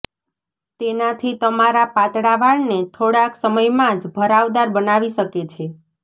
તેનાથી તમારા પાતળા વાળને થોડાક સમયમાંજ ભરાવદાર બનાવી શકે છે